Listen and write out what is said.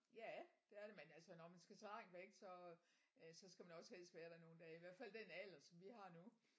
Ja det er det men altså når man skal så langt væk så øh så skal man også helst være der nogle dage i hvert fald den alder som vi har nu